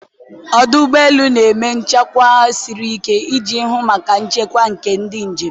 ọdụ ụgbọ elu na-eme usoro nchekwa siri ike iji hụ maka nchekwa nke ndị njem.